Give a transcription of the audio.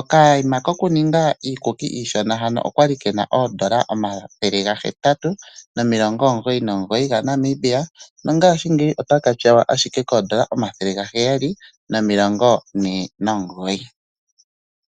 Okayima kokuninga iikukuli iishona hano okali kena N$ 899 nongaashingeyi otaka tyawa ashike N$749.